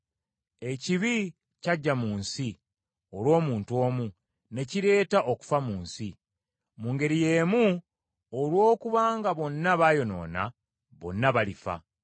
Ekibi kyajja mu nsi olw’omuntu omu, ne kireeta okufa mu nsi. Mu ngeri y’emu olw’okuba nga bonna baayonoona, bonna balifa.